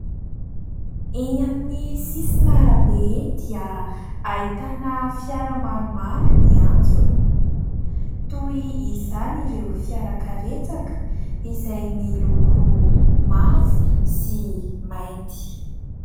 Eny amin'ny sisin'arabe eny dia ahitana fiara maromaro miantsona, toy izany ireo fiara karetsaka izay miloko mavo sy mainty.